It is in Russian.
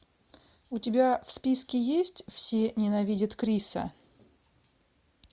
у тебя в списке есть все ненавидят криса